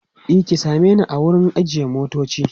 e ki same ni a wurin ajiye motoci